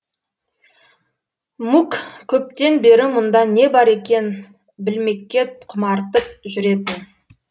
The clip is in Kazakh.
мук көптен бері мұнда не бар екен білмекке құмартып жүретін